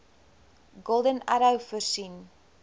golden arrow voorsien